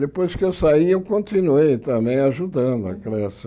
Depois que eu saí, eu continuei também ajudando a Creche.